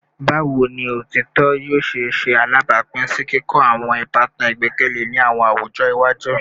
Bawo ni otitọ yoo ṣe ṣe alabapin si kikọ awọn ibatan igbẹkẹle ni awọn awujọ iwaju?